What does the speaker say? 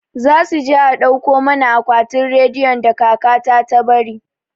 Za su je a dauko mana akwatin rediyon da kaka ta ta bari